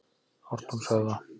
Ártúnshöfða